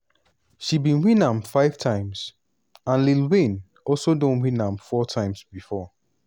she bin win am five times and lil wayne also don win am four times before.